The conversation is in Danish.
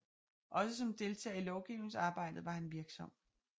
Også som deltager i lovgivningsarbejdjet var han virksom